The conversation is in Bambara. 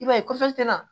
I b'a ye kɔfɛ ten na